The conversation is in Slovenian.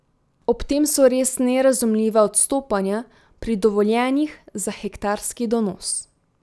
Ob tem so res nerazumljiva odstopanja pri dovoljenjih za hektarski donos.